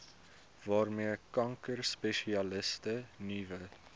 waarmee kankerspesialiste nuwe